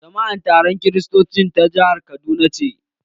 Jama'an taron kristoci na jahar kaduna ce.